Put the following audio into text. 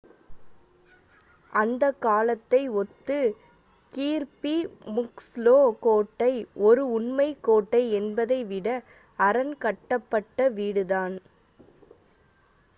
அந்த காலத்தை ஒத்து கீர்பி முக்ஸ்லோ கோட்டை ஒரு உண்மைக் கோட்டை என்பதை விட அரண் கட்டப்பட்ட வீடுதான்